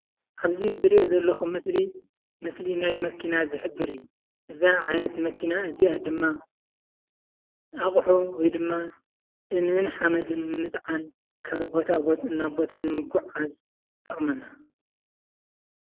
ኣብዚ ዝርኦ ዘለኹ ምስሊ ምስሊ ናይ መኪና ዝሕብር እዩ። እዛ ዝሪኣ ዘለኩ ዓይነት መኪና ድማ ኣቑሑ ወይ ድማ እምንን ሓመድን ንምፅዓን ካብ ቦታ ናብ ቦታ ንምጉዕዓዝ ትጠቕመና።